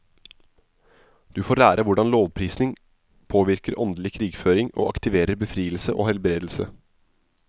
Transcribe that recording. Du får lære hvordan lovprisning påvirker åndelig krigføring og aktiverer befrielse og helbredelse.